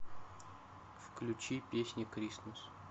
включи песня кристмас